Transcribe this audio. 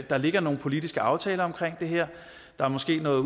der ligger nogle politiske aftaler omkring det her der er måske noget